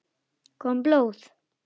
Kom blóð?